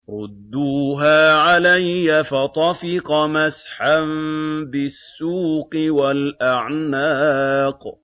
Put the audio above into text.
رُدُّوهَا عَلَيَّ ۖ فَطَفِقَ مَسْحًا بِالسُّوقِ وَالْأَعْنَاقِ